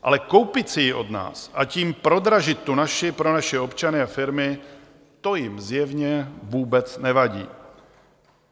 Ale koupit si ji od nás a tím prodražit tu naši pro naše občany a firmy, to jim zjevně vůbec nevadí.